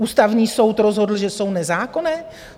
Ústavní soud rozhodl, že jsou nezákonné?